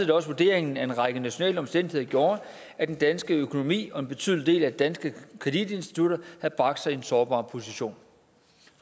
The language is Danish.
det også vurderingen at en række nationale omstændigheder gjorde at den danske økonomi og en betydelig del af de danske kreditinstitutter havde bragt sig i en sårbar position